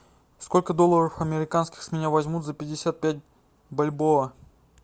сколько долларов американских с меня возьмут за пятьдесят пять бальбоа